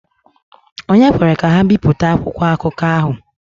Ònye kwere ka ha bipụta akwụkwọ akụkọ ahụ?